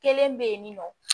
Kelen bɛ yen nɔ